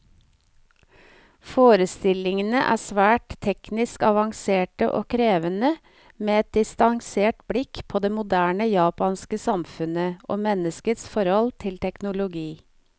Forestillingene er svært teknisk avanserte og krevende, med et distansert blikk på det moderne japanske samfunnet, og menneskets forhold til teknologi.